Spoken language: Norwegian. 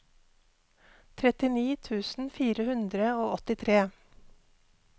trettini tusen fire hundre og åttitre